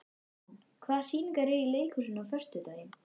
Ann, hvaða sýningar eru í leikhúsinu á föstudaginn?